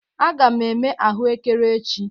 Aga m eme ahụekere echi.